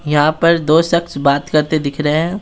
यहां पर दो शख्स बात करते दिख रहे हैं।